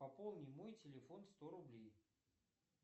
пополни мой телефон сто рублей